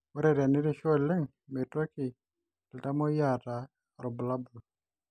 Ore tenerishu oleng meitoki iltamoyia aata irbulabol